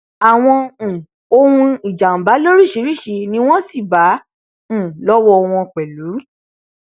àwọn um ohun ìjàmbá lóríṣiríṣi ni wọn sì bá um lọwọ wọn pẹlú